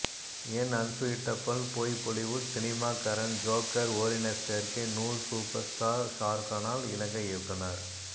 என் unsuitable boy Bollywood cinema Karan Johar ஓரின சேர்க்கை நூல் சூப்பர் ஸ்டார் ஷாருகானால் இலங்கை இயக்குனர்